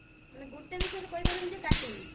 ମାନେ ଗୁଟେ ବି serial କହି ପାରିବୁନି ଯେ କାଟିବି